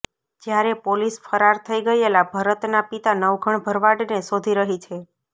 જ્યારે પોલીસ ફરાર થઇ ગયેલા ભરતના પિતા નવઘણ ભરવાડને શોધી રહી છે